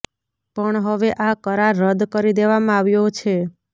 પણ હવે આ કરાર રદ કરી દેવામાં આવ્યો છે